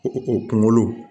O o kunkolo